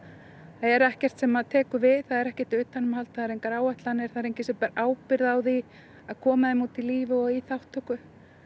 er ekkert sem tekur við það er ekkert utanumhald það eru engar áætlanir það er enginn sem ber ábyrgð á því að koma þeim út í lífið og í þátttöku